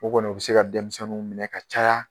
O kɔni u bɛ se ka denmisɛnninw minɛ ka caya